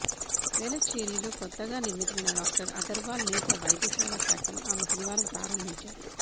వేలచ్చేరిలో కొత్తగా నిర్మితమైన డాక్టర్ అగర్వాల్ నేత్ర వైద్యశాల శాఖను ఆమె శనివారం ప్రారంభించారు